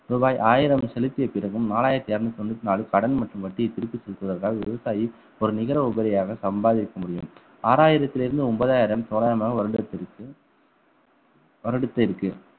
ரூபாய் ஆயிரம் செலுத்திய பிறகும் நாலாயிரத்தி இருநூத்தி தொண்ணூத்தி நாலு கடன் மற்றும் வட்டியை திருப்பி செலுத்துவதற்காக விவசாயி ஒரு நிகர உபரியாக சம்பாதிக்க முடியும் ஆறாயிரத்திலிருந்து ஒன்பதாயிரம் தோராயமாக வருடத்திற்கு வருடத்திற்கு